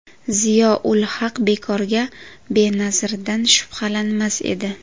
Ziyo ul-Haq bekorga Benazirdan shubhalanmas edi.